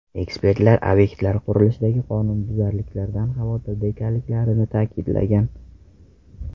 Ekspertlar obyektlar qurilishidagi qonunbuzarliklardan xavotirda ekanliklarini ta’kidlagan.